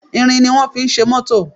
Irin ni wón fi ṣe mótò